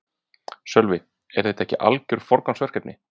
Sölvi: Er það ekki algjört forgangsverkefni?